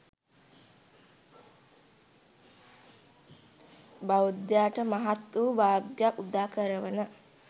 බෞද්ධයාට මහත් වූ භාග්‍යයක් උදා කරවන